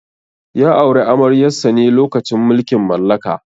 Ya auri amaryar sa ne lokacin mulkin mallaka.